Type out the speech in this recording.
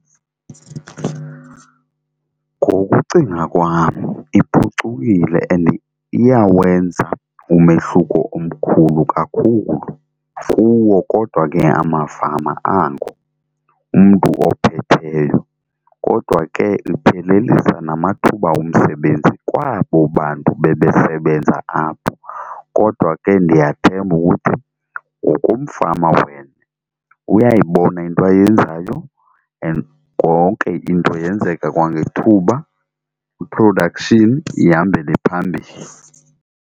Ngokucinga kwam iphucukile and iyawenza umehluko omkhulu kakhulu kuwo kodwa ke amafama ango, umntu ophetheyo. Kodwa ke iphelelisa namathuba omsebenzi kwabo bantu bebesebenza apho kodwa ke ndiyathemba ukuthi ngokomfama wena, uyayibona into ayenzayo and konke into yenzeka kwangethuba i-production ihambele phambili.